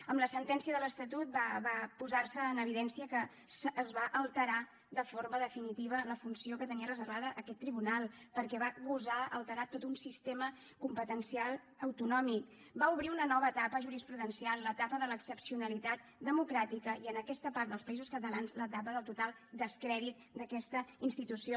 amb la sentència de l’estatut va posar se en evidència que es va alterar de forma definitiva la funció que tenia reservada aquest tribunal perquè va gosar alterar tot un sistema competencial autonòmic va obrir una nova etapa jurisprudencial l’etapa de l’excepcionalitat democràtica i en aquesta part dels països catalans l’etapa del total descrèdit d’aquesta institució